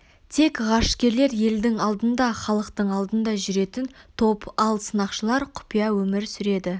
тек ғарышкерлер елдің алдында халықтың алдында жүретін топ ал сынақшылар құпия өмір сүреді